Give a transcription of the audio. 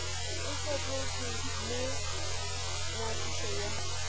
e fetoletšwe le ngwadišo ya